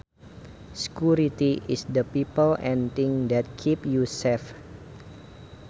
Security is the people and things that keep you safe